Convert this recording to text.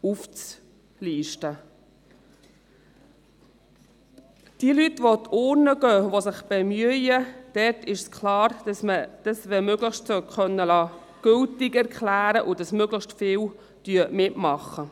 Bei jenen Leuten, die an die Urne gehen und sich bemühen, ist klar, dass man deren Stimmen möglichst sollte für gültig erklären können, damit möglichst viele mitmachen.